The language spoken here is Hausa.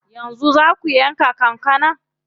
Yanzu zaa ku yanka kankanar?